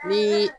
Ni